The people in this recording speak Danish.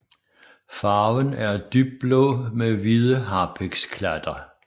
Farven er dybblå med hvide harpiksklatter